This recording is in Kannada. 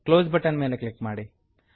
ಕ್ಲೋಸ್ ಬಟನ್ ಮೇಲೆ ಕ್ಲಿಕ್ ಮಾಡಿ